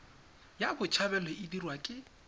ya botshabelo e dirwa ke